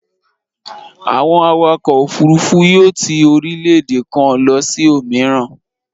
Àwọn awakọ̀ òfurufú yóò ti orílẹ̀-èdè kan lọ sí òmíràn.